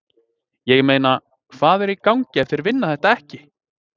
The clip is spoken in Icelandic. Ég meina, hvað er í gangi ef þeir vinna þetta ekki?!